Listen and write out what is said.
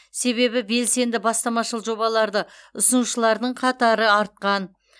себебі белсенді бастамашыл жобаларды ұсынушылардың қатары артқан